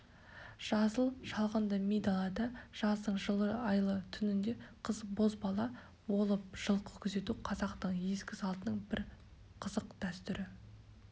жасыл шалғынды ми далада жаздың жылы айлы түнінде қыз-бозбала болып жылқы күзету қазақтың ескі салтының бір қызық дәстүрі